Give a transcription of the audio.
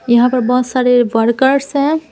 यहां पर बहुत सारे वर्कर्स हैं।